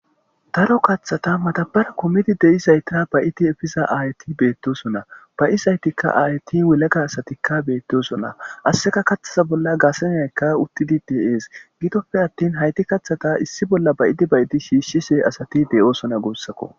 Daro kaththata matabara kumidi de'isaytira ba'idi efiza ayti beettosona ba'isaytikka ayti wulaga asatikka beettosona asseka kaththasa bolla gaasenyaykka uttidi de'ees gidoppe attin hayti kathata issi bolla bayidi bayidi shiishshise asati deyoosona goossakko